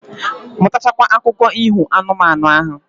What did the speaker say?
Mutacha kwa akụko iho anu, manu ahu